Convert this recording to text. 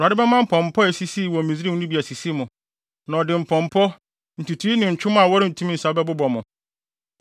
Awurade bɛma mpɔmpɔ a esisii wɔ Misraim no bi asisi mo. Na ɔde mpɔmpɔ, ntutui ne ntwom a wɔrentumi nsa bɛbobɔ mo.